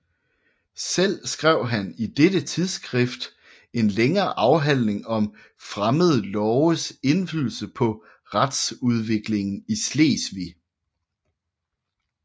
Selv skrev han i dette tidsskrift en længere afhandling om Fremmede Loves Indflydelse paa Retsudviklingen i Slesvig